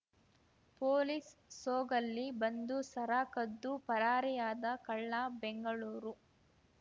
police ಸೋಗಲ್ಲಿ ಬಂದು ಸರ ಕದ್ದು ಪರಾರಿಯಾದ ಕಳ್ಳ ಬೆಂಗಳೂರು